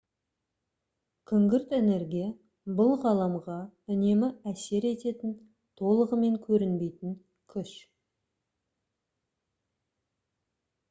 күңгірт энергия бұл ғаламға үнемі әсер ететін толығымен көрінбейтін күш